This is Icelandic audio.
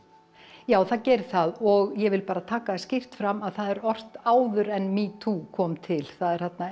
já það gerir það og ég vil bara taka það skýrt fram að það er ort áður en metoo kom til það er þarna